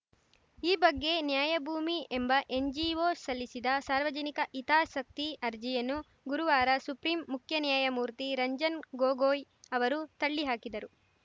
ಈ ಬಗ್ಗೆ ನ್ಯಾಯ ಭೂಮಿ ಎಂಬ ಎನ್‌ಜಿಒ ಸಲ್ಲಿಸಿದ ಸಾರ್ವಜನಿಕ ಹಿತಾಸಕ್ತಿ ಅರ್ಜಿಯನ್ನು ಗುರುವಾರ ಸುಪ್ರೀಂ ಮುಖ್ಯ ನ್ಯಾಯಮೂರ್ತಿ ರಂಜನ್‌ ಗೊಗೋಯ್‌ ಅವರು ತಳ್ಳಿ ಹಾಕಿದರು